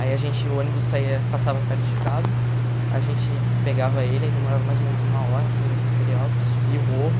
Aí a gente o ônibus saía passava perto de casa, a gente pegava ele, aí demorava mais ou menos uma hora até o Jardim Peri Alto, subia o morro.